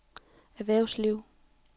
erhvervsliv